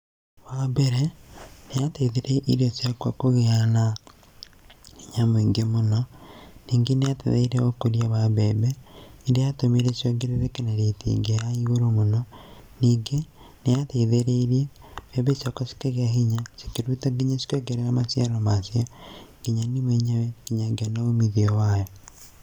Wambere yateithirie irio ciakwa kũgĩa na hinya mũingĩ mũno. Ningĩ nĩ yateithirie ũkũria wa mbembe, nĩ ya tũmire ciongerereke na rate ĩngĩ ya iagũrũ mũno ningĩ nĩ ya teithĩrĩirie mbembe ciakwa cĩkĩgĩa na hinya cikĩruta nginya cikĩongerera maciaro macio. Nginya niĩ mwenyewe nginya ngĩona umithio wayo.